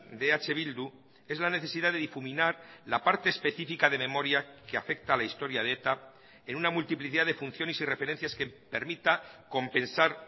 de eh bildu es la necesidad de difuminar la parte específica de memoria que afecta a la historia de eta en una multiplicidad de funciones y referencias que permita compensar